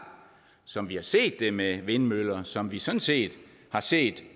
som vi har set det med vindmøller og som vi sådan set har set